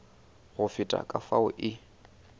go feta ka fao e